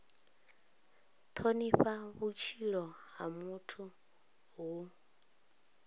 thonifha vhutshilo ha muthu hu